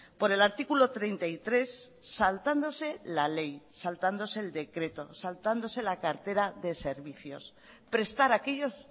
por el artículo treinta y tres saltándose la ley saltándose el decreto saltándose la cartera de servicios prestar aquellos